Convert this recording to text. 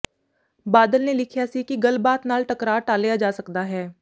ਬਾਦਲ ਨੇ ਲਿਖਿਆ ਸੀ ਕਿ ਗੱਲਬਾਤ ਨਾਲ ਟਕਰਾਅ ਟਾਲ਼ਿਆ ਜਾ ਸਕਦਾ ਹੈ